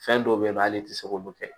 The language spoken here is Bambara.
Fɛn dɔw be yen nɔ ale ti se k'olu kɛ